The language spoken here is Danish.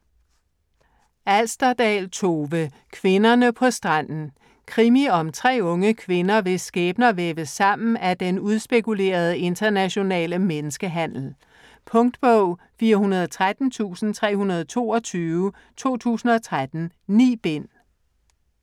Alsterdal, Tove: Kvinderne på stranden Krimi om tre unge kvinder, hvis skæbner væves sammen af den udspekulerede internationale menneskehandel. Punktbog 413322 2013. 9 bind.